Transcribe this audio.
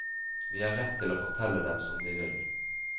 Vi har rett til å fortelle dem som vi vil.